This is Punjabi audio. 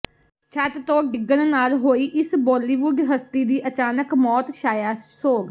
ਛੱਤ ਤੋਂ ਡਿਗਣ ਨਾਲ ਹੋਈ ਇਸ ਬੋਲੀਵੁਡ ਹਸਤੀ ਦੀ ਅਚਾਨਕ ਮੌਤ ਛਾਇਆ ਸੋਗ